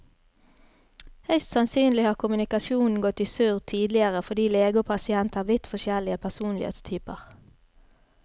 Høyst sannsynlig har kommunikasjonen gått i surr tidligere fordi lege og pasient har vidt forskjellig personlighetstyper.